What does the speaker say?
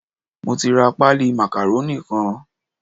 Mo ti ra páálí màkàrónì kan.